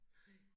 Nej